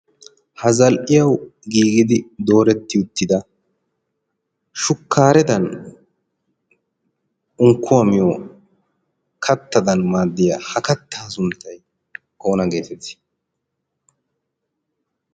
ha zal'iyau giigidi dooretti uttida shukkaaredan unkkuwaamiyo kattadan maaddiyaa ha kattaa sunttai oona geetettii?